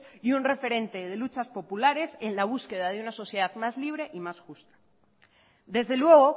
y un referente de luchas populares en la búsqueda de una sociedad más libre y más justa desde luego